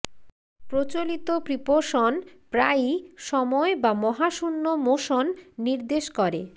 প্রচলিত প্রিপোশন প্রায়ই সময় বা মহাশূন্য মোশন নির্দেশ করে